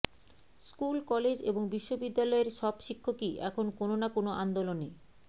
school college এবং বিশ্ববিদ্যালয়ের সব শিক্ষকই এখন কোনো না কোনো আন্দোলনে